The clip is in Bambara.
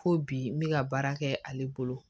Ko bi n bɛ ka baara kɛ ale bolo